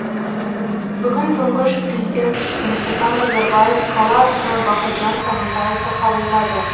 бүгін тұңғыш президент нұрсұлтан назарбаев қала әкімі бақытжан сағынтаевты қабылдады